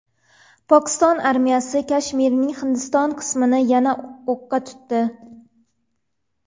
Pokiston armiyasi Kashmirning Hindiston qismini yana o‘qqa tutdi.